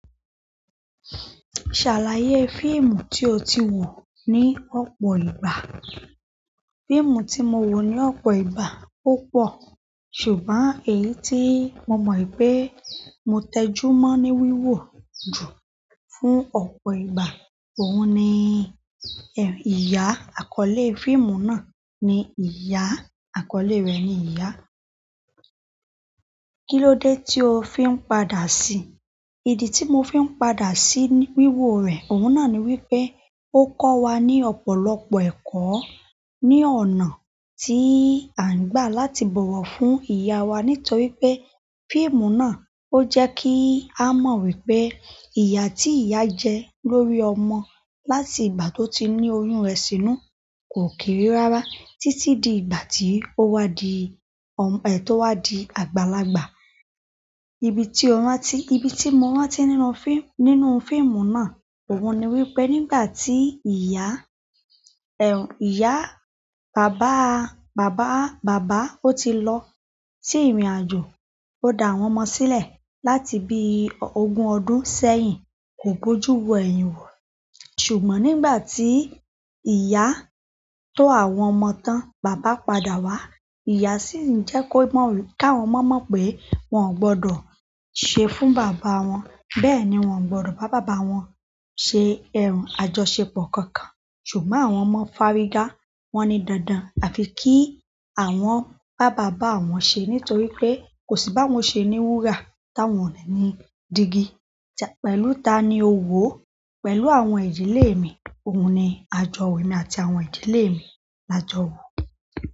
Ṣàlàyé fíìmù tí o ti wò ní ọ̀pọ̀ ìgbà. Fíìmù tí mo wò ní ọ̀pọ̀ ìgbà púpọ̀. Ṣùgbọ́n èyí tí mo mọ̀ i pé mo tẹjú mọ́ ní wíwò jù fún ọ̀pọ̀ ìgbà, òun ni ẹ̀, ìyá. Àkọ́lé fíìmù náà ni "Ìyá", àkọ́lé rẹ̀ ni "Ìyá". Kí ló dé tí o fi ń padà sí? Ìdí tí mo fi ń padà sí wi wíwò rẹ̀, òun náà ni wípé ó kọ́ wa ní ọ̀pọ̀lọpọ̀ ẹ̀kọ́ ní ọ̀nà tí à ń gbà láti bọ̀wọ̀ fún ìyá wa nítorí pé fíìmù náà ó jẹ́ kí a mọ̀ wípé ìyà tí ìyá jẹ lórí ọmọ láti ìgbà tó ti ní oyún rẹ̀ sínú kò kiri rárá títí di ìgbà tí ó wá di ọm-- è tó wá di àgbàlagbà. Ibi tí ọ rántí, ibi tí mo rántí nínú fi-- nínú fíìmù náà, òun ni wípé nígbà tí ìyá, ẹ̀, ìyá, bàbá a, bàbá a, bàbá ó ti lọ sí ìrìnàjò, ó da àwọn ọmọ sílẹ̀ láti bí o ogún ọdún sẹ́yìn, kò bójú wo ẹ̀yìn wọ̀. Ṣùgbọ́n nígbà tí ìyá tó àwọn ọmọ tán, bàbá padà wá, ìyá sì ń jẹ́ kó mọ wí-- káwọn ọmọ mọ̀ pé wọ́n gbọdọ̀ ṣe fún bàbá wọn. Bẹ́ẹ̀ ni wón gbọdọ̀ bá bàbá wọn ṣe ẹrú àjọṣepọ̀ kankan. Ṣùgbọ́n àwọn ọmọ fárígá, wọ́n ní dandan àfi kí àwọn bá bàbá àwọn ṣe nítorí pé kò sí báwọn ṣe ní wúrà táwọn o ní ni digi. Chai. Pẹ̀lú ta ni o wò ó? Pẹ̀lú àwọn ìdílé mi. Òun ni àjọ̀wo emi àti àwọn ìdílé mi la jọ wò.